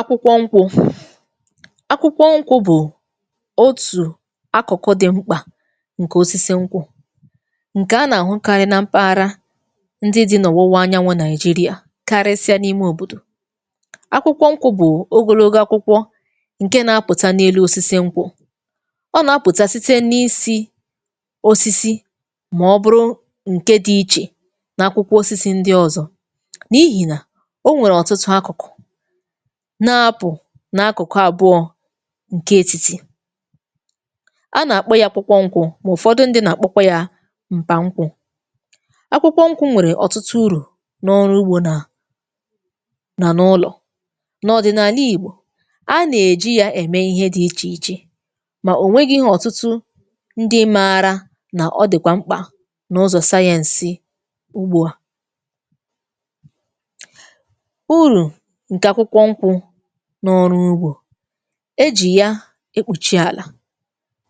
Akwụkwọ nkwụ̇; akwụkwọ nkwụ̇ bụ̀ otù akụ̀kụ̀ dị̀ mkpà ǹkè osisi nkwụ̇, ǹkè a nà-àhụ karị nà mpaghara ndị dì nà ọ̀wụwa anyanwụ̇ nàijị́rià, karịsịa n’ime òbòdò. Akwụkwọ nkwụ̇ bụ̀ ogologo akwụkwọ ǹke nà-apụ̀ta n’elu osisi nkwụ̇, ọ nà-apụ̀ta sịte n’isi osisi mà ọ bụrụ ǹke di ichè nà akwụkwọ osisi ndị ọzọ. N’ihì nà onwèrè ọ̀tụtụ akụ̀kụ̀, na-apụ̀ na akụ̀kụ àbụọ̇ ǹke etìtì. A nà-àkpọ ya nkwụ̇, mà ụ̀fọdụ ndị nà-àkpọ kwa ya m̀pà nkwụ. Akwụkwọ nkwụ̇ nwèrè ọ̀tụtụ urụ n’ọrụ ugbȯ, nà nà n'ụlọ̀. N’ọdị̀nàlà ìgbò, a nà-èji ya ème ihe di ichè ichè, mà ònweghi ọ̀tụtụ ndị márà na ọdị̀kwà mkpà n’ụzọ̀ sayẹǹsị Ugbu a. Ụrụ nke akwụkwọ nkwụ n'ọrụ ugbȯ; ejì ya èkpùchi àlà.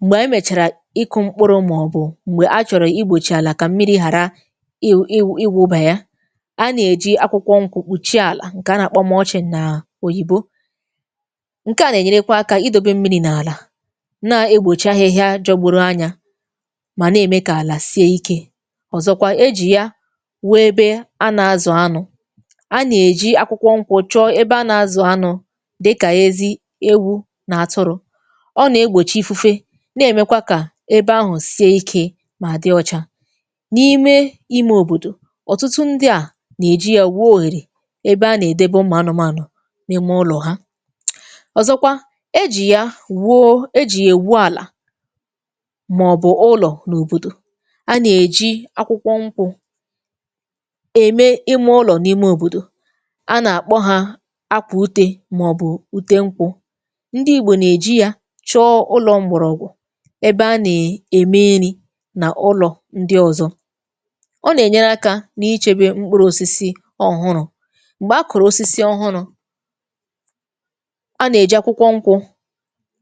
Mgbè ànyị mèchàrà ịkụ̀ mkpụrụ, maọ̀bụ̀ m̀gbè a chọ̀rọ̀ igbòchi àlà kà mmiri̇ hàra iwụ iwụ ịwụ̇bà ya, a nà-èji akwụkwọ nkwụ̇ kpùchie àlà; ǹkè a nà-àkpọ mulching nà òyìbo. Nke à nà-ènyerekwa akȧ idȯbe mmiri̇ n’àlà, na-egbòchi ahịhịa jọgbụrụ anyȧ, mà na-ème kà àlà sie ikė. Ọzọkwa ejì ya wụ ebė a nà-azù anụ̇, a nà-èji akwụkwọ nkwụ chọọ ebe a na-azù anụ dịkà ezi, ewu nà atụrụ. Ọ nà egbòchị ifufe, na èmekwa kà ebe ahụ̀ sie ikė mà dị ọcha. N’ime imė òbòdò, ọ̀tụtụ ndị à nà-èji ya wụo ohèrè ebe a nà-èdebe ụmụ anụmànụ n’ime ụlọ̀ ha. Ọzọkwa, e jì ya wụọ e jì ya èwụ àlà mà ọ̀ bụ̀ ụlọ̀ n’òbòdò; a nà-èji akwụkwọ nkwụ̇ ème ime ụlọ̀ n’ime òbòdò. A na-akpọ ha ákwà ụte, màọ̀bụ̀ ụte nkwụ̇. Ndị igbò nà-èji ya chọọ ụlọ̇ m̀gbọ̀rọ̀gwụ̀ ebe a na- ème nrị nà ụlọ̀ ndị ọ̀zọ. Ọ nà-ènyere akȧ n’ichė be mkpụrụ̇osisi ọ̀hụrụ̇; m̀gbè a kụ̀rụ̀ osisi ọhụrụ̇, a nà-èji akwụkwọ nkwụ̇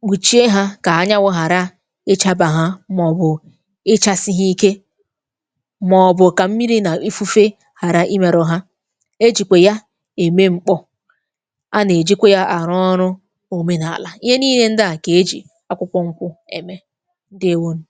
kpụchie hȧ kà anyanwụ̇ ghàra ịchȧbà ha, màọ̀bụ̀ ịchȧsị ha ike, màọ̀bụ̀ kà mmiri̇ nà ifufe ghàra imėrụ ha. Ejìkwè ya ème mkpọ, a na-ejìkwè ya arụ ọrụ omenààlà. Ihe nị́ị́le ndị à ka e jì akwụkwọ ṅkwụ̇ ème. Ndeewo nụ.